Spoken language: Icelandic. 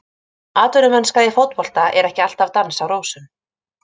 Atvinnumennska í fótbolta er ekki alltaf dans á rósum.